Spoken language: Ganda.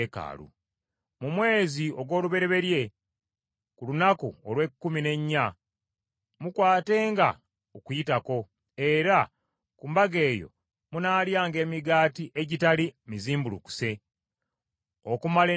“ ‘Mu mwezi ogw’olubereberye ku lunaku olw’ekkumi n’ennya mukwatenga Okuyitako, era ku mbaga eyo munaalyanga emigaati egitali mizimbulukuse okumala ennaku musanvu.